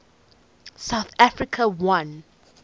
south africa won